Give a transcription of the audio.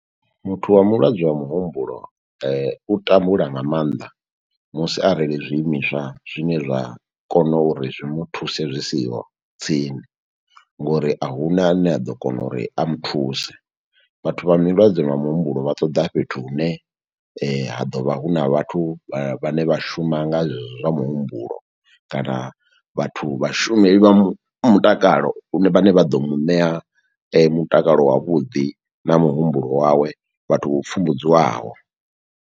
Muthu wa mulwadze wa muhumbulo, u tambula nga maanḓa musi arali zwiimiswa zwine zwa kona uri zwi muthuse zwi siho tsini, ngo uri a huna a ne a ḓo kona uri a muthuse. Vhathu vha milwadze vha muhumbulo vha ṱoḓa fhethu hune, ha ḓo vha huna vhathu vhane vha shuma nga zwezwo zwa muhumbulo, kana vhathu vhashumeli vha mutakalo vhane vha ḓo muṋea mutakalo wavhuḓi na muhumbulo wawe, vhathu vho pfumbudziwaho.